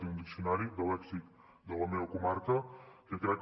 tinc un diccionari de lèxic de la meva comarca que crec